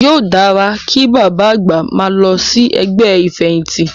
Yóò dára kí bàbá àgbà máa lọ sí ẹgbẹ́ ìfẹ̀yìntì.